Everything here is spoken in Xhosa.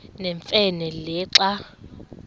nemfe le xa